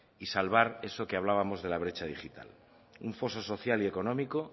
y salvar eso que hablábamos de la brecha digital un foso social y económico